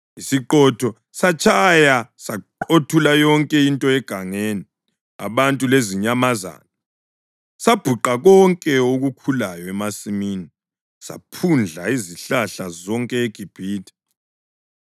Isiqhotho satshaya saqothula yonke into egangeni, abantu lezinyamazana; sabhuqa konke okukhulayo emasimini, saphundla izihlahla zonke eGibhithe.